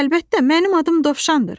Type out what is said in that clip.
Əlbəttə, mənim adım dovşandır.